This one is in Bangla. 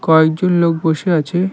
কয়েকজন লোক বসে আছে।